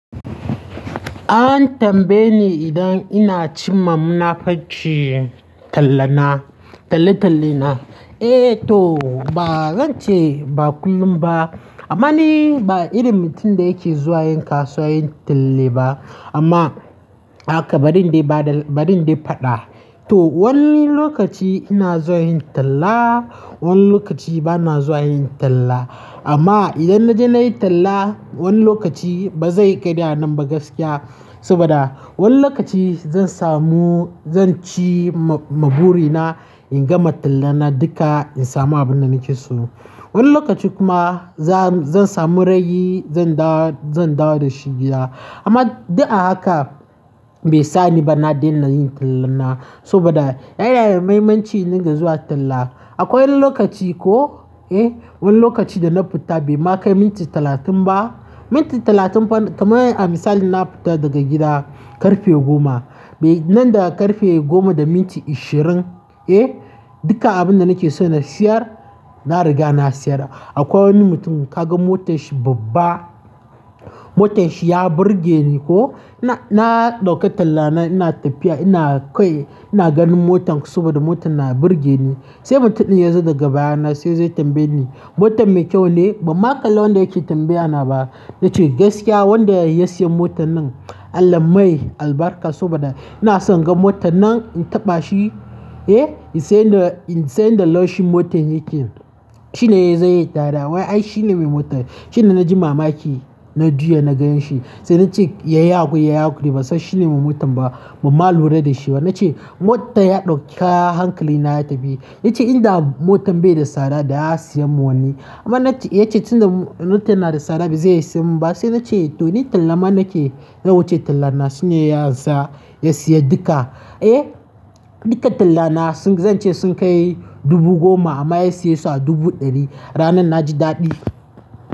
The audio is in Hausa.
An tambaye ni idan ina cimma munafurci tallana, talle-talle na. Eh to ba zan ce ba kullum ba amma ni ba irin mutum da yake zuwa yin kasuwa yin talle ba. Amma haka ba dindi ba da ba dindi faɗa. To wani lokaci ina zuwa yin talla, wani lokaci bana zuwa yin talla. Amma idan na je na yi talla wani lokaci ba zai yi ƙarya nan ba gaskiya saboda wani lokaci zan samu zan ci ma-mabure na in gama tallana duka in samu abin da nake so. Wani lokaci kuma za-zan samu ragi zan dawo, zan dawo da shi gida. Amma duk a haka bai sa ni ba na daina yin talla na saboda yana da mahimmanci in dinga zuwa talla. Akwai wani lokaci ko, eh wani lokaci da na fita bai ma kai minti talatin ba, minti talatin fa kamar misali na fita daga gida ƙarfe goma, bai nan da ƙarfe goma da minti ishirin, eh duka abin da nake so na siyar na riga na siyar. Akwai wani mutum ka ga motar shi babba, motar shi ya burge ni ko, na-na ɗauka talla na ina tafiya ina kawai ina ganin motan saboda motan na burge ni. Sai mutum ɗin ya zo daga baya na sai zai tambaye ni "motan mai kyau ne?" Ba ma kalli wanda yake tambaya na ba nace gaskiya wanda ya siya motan nan Allah mai albarka saboda ina son in gan mota nan in taɓa shi, eh in san da, in san yanda laushin motar yake shine yazo yayi dariya. Wai ai shine mai motan, shine na ji mamaki na juya na gani shi. Sai nace yayi haƙuri, yayi haƙuri ban san shine mai motan ba. Ba ma lura da shi ba nace motan ya ɗauka hankali na ya tafi. Yace in da motan bai da tsada da ya siyan mun wani. Amma nace yace tunda motan na da tsada ba zai iya siyan mun ba. Sai nace to ni tallama nake, nawuce tallana shine ya ansa ya siya duka. Eh duka tallana sun, zan ce sun kai dubu goma amma ya siye su a dubu ɗari. Ranar na ji daɗi.